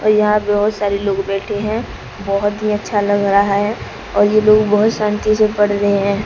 और यहां बहुत सारे लोग बैठे हैं बहुत ही अच्छा लग रहा है और ये लोग बहुत शांति से पढ़ रहे हैं।